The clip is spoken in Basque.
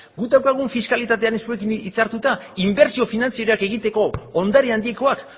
guk daukagun fiskalitatea zuekin hitzartuta inbertsio finantzieroak egiteko ondare handikoak